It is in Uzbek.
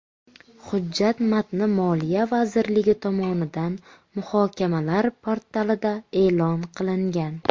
Hujjat matni Moliya vazirligi tomonidan muhokamalar portalida e’lon qilingan.